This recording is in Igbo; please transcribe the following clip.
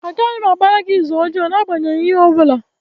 Agaghị m agbara gị ịzụ ọjọọ n'agbanyeghị ihe ọ bụla.